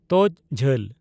ᱛᱚᱡ ᱡᱷᱟᱹᱞ